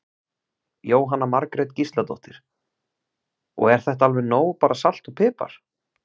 Jóhanna Margrét Gísladóttir: Og er þetta alveg nóg bara salt og pipar?